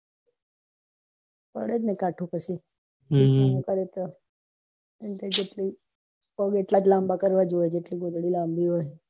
પડેજ ને કાઢવા પછી ચાદર જેટલી હોઈ એટલીજ પગ લાંબા કરવા પડે જોઈં